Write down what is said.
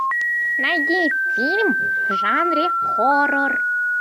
найди фильм в жанре хоррор